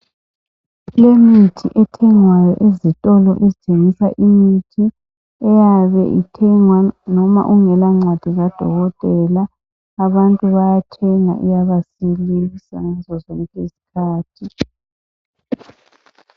Kulemithi ethengwayo ezitolo ezithengisa imithi lamaphilisi. Le ngengakhaleli incwadi kakadokotelaAbantu bayayithenga basizakale, izikhathi ezihengi.